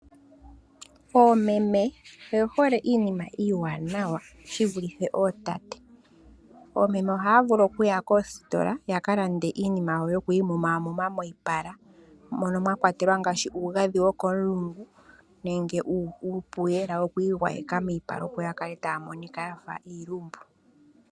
Oomeme oye hole iinima iiwanawa shivulithe ootate, oomeme ohaya vulu okuya koositola yaka lande iinima yawo yokwiimumamuma moyipala, mono mwa kwatelwa ngaashi uugadhi wokomulungu nenge uupuyela wokwiigwayega miipala opo yakale taamonika yafa iilumbu.